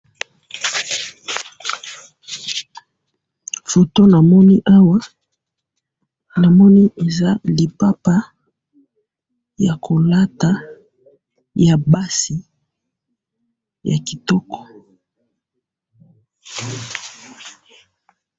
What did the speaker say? Foto namoni awa, namoni eza lipapa, yakolata, yabasi, yakitoko.